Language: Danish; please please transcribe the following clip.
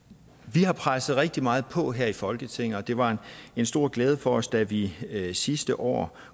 vi har presset rigtig meget på her i folketinget og det var en stor glæde for os da vi sidste år